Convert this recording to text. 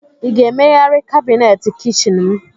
Ị ga-emegharị kabineti kichin m?